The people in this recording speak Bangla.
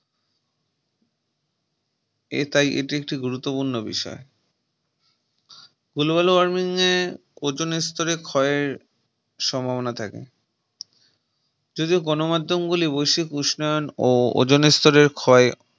এ তাই এটি একটি গুরুত্বপূর্ণ বিষয় Global warming এ ozone এর স্তরের ক্ষয়ের সম্ভাবনা থাকে যদিও গণমাধ্যম গুলি বৈশিক উষ্ণায়ন ও ওজনের স্তরের ক্ষয়ে